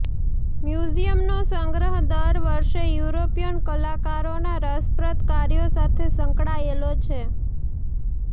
મ્યુઝિયમનો સંગ્રહ દર વર્ષે યુરોપિયન કલાકારોના રસપ્રદ કાર્યો સાથે સંકળાયેલો છે